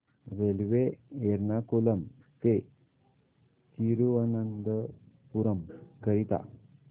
railway Ernakulam ते थिरुवनंतपुरम करीता